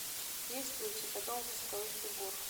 есть ли у тебя дом восковых фигур